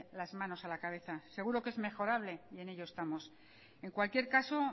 las manos a la cabeza seguro que es mejorable y en ello estamos en cualquier caso